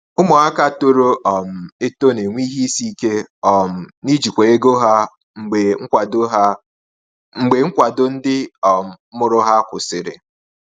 Ụmụaka toro um eto na-enwe ihe isi ike um n’ijikwa ego ha mgbe nkwado ha mgbe nkwado ndị um mụrụ ha kwụsịrị.